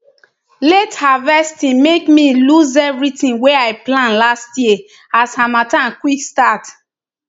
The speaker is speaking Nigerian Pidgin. late harvesting make me lose everything wey i plant last year as harmattan quick start